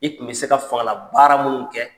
I tun be se ka fangalabaara minnu kɛ